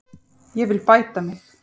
Ég vil bæta mig.